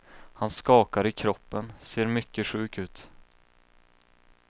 Han skakar i kroppen, ser mycket sjuk ut.